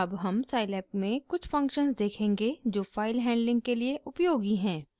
अब हम scilab में कुछ फंक्शन्स देखेंगे जो फाइल हैंडलिंग के लिए उपयोगी हैं